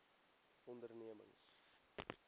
ondernemings